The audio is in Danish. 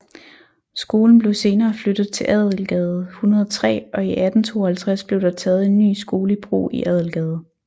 Skolen blev senere flyttet til Adelgade 103 og i 1852 blev der taget en ny skole i brug i Adelgade